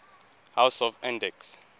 house of andechs